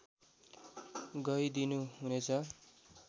गइ दिनु हुनेछ